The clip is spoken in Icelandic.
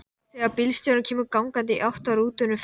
Segðu mér eitt: af hverju verða menn sósíalistar?